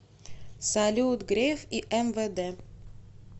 салют греф и мвд